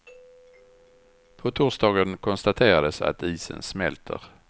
På torsdagen konstaterades att isen smälter.